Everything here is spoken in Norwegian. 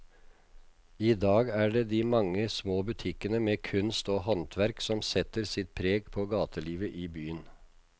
I dag er det de mange små butikkene med kunst og håndverk som setter sitt preg på gatelivet i byen.